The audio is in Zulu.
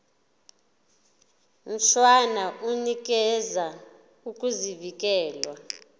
mshwana unikeza ukuvikelwa